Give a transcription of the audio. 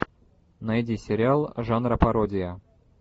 найди сериал жанра пародия